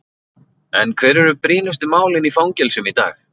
En hver eru brýnustu málin í fangelsum í dag?